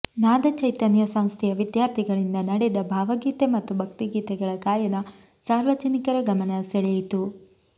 ನಾದಚೈತನ್ಯ ಸಂಸ್ಥೆಯ ವಿದ್ಯಾರ್ಥಿಗಳಿಂದ ನಡೆದ ಭಾವಗೀತೆ ಮತ್ತು ಭಕ್ತಿಗೀತೆಗಳ ಗಾಯನ ಸಾರ್ವಜನಿಕರ ಗಮನ ಸೆಳೆಯಿತು